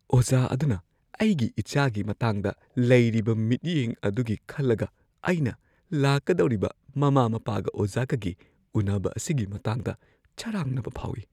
ꯑꯣꯖꯥ ꯑꯗꯨꯅ ꯑꯩꯒꯤ ꯏꯆꯥꯒꯤ ꯃꯇꯥꯡꯗ ꯂꯩꯔꯤꯕ ꯃꯤꯠꯌꯦꯡ ꯑꯗꯨꯒꯤ ꯈꯜꯂꯒ ꯑꯩꯅ ꯂꯥꯛꯀꯗꯧꯔꯤꯕ ꯃꯃꯥ-ꯃꯄꯥꯒ-ꯑꯣꯖꯥꯒꯒꯤ ꯎꯟꯅꯕ ꯑꯁꯤꯒꯤ ꯃꯇꯥꯡꯗ ꯆꯔꯥꯡꯅꯕ ꯐꯥꯎꯏ꯫